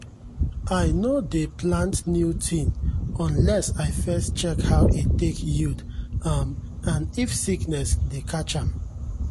i no dey plant new thing unless i first check how e take yield um and if sickness dey catch am.